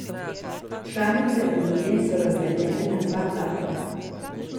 Članice unije so razdeljene na dva tabora.